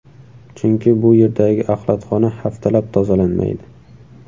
Chunki bu yerdagi axlatxona haftalab tozalanmaydi.